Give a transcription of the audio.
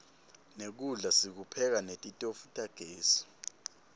nekudla sikupheka netitofu tagezi